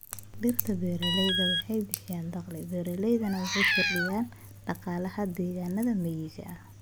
Dhirta beeraleyda waxay bixiyaan dakhli beeraleyda waxayna kordhiyaan dhaqaalaha deegaanada miyiga.